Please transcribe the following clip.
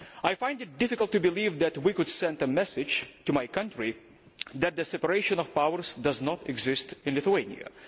I find it difficult to believe that we could send a message to my country that the separation of powers does not exist in Lithuania.